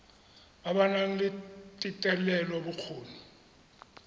ba ba nang le thetelelobokgoni